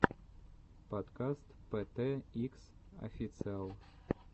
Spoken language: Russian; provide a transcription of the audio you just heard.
подкаст пэ тэ икс официал